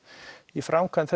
í framkvæmd